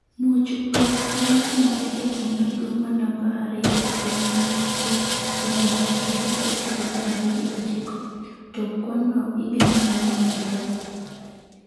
Mwoch go notimore e boma maduong' ma namba ariyo e pinyno manyinge Surabaya kendo ne okelo tho mar ji ochiko, to kwanno igeno ni nyalo medore.